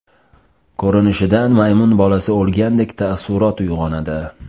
Ko‘rinishidan maymun bolasi o‘lgandek taassurot uyg‘onadi.